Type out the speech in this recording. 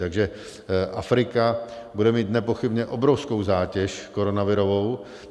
Takže Afrika bude mít nepochybně obrovskou zátěž koronavirovou.